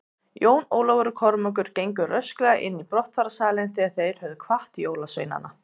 Jón Ólafur og Kormákur gengu rösklega inn í brottfararsalinn þegar þeir höfðu kvatt jólaveinana.